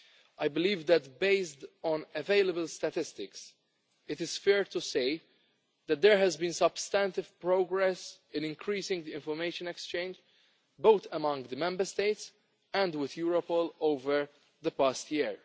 I believe that, based on available statistics, it is fair to say that there has been substantive progress in increasing the information exchange, both among the Member States and with Europol, over the past year.